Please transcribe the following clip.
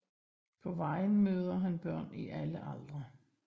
På vejen møder han børn i alle aldre